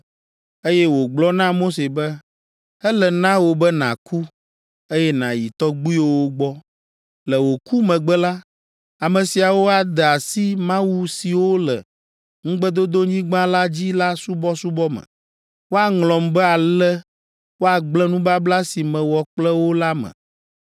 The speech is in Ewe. eye wògblɔ na Mose be, “Ele na wò be nàku, eye nàyi tɔgbuiwòwo gbɔ. Le wò ku megbe la, ame siawo ade asi mawu siwo le ŋugbedodonyigba la dzi la subɔsubɔ me. Woaŋlɔm be ale woagblẽ nubabla si mewɔ kple wo la me.